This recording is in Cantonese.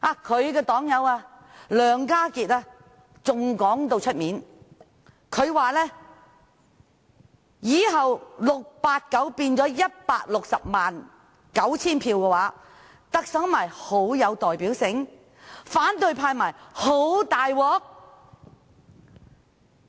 他的黨友梁家傑還公開說，以後689票變成了 1,609 000票的話，特首不是很有代表性？反對派不是很"大鑊"？